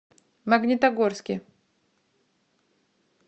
магнитогорске